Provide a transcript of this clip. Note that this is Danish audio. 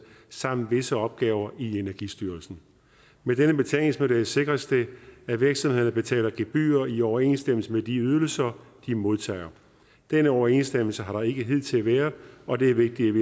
samt visse opgaver i energistyrelsen med denne betalingsmodel sikres det at virksomhederne betaler gebyrer i overensstemmelse med de ydelser de modtager denne overensstemmelse har ikke hidtil været der og det er vigtigt